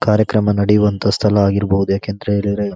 ಕಾರ್ಯಕ್ರಮ ನೆಡೆಯುವಂತಹ ಸ್ಥಳವಾಗಿರಬಹುದು ಯಾಕಂತ ಹೇಳಿದ್ರೆ --